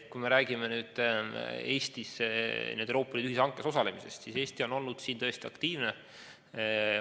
Kui me räägime Euroopa Liidu ühishankes osalemisest, siis Eesti on olnud siin tõesti aktiivne.